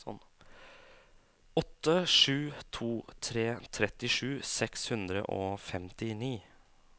åtte sju to tre trettisju seks hundre og femtini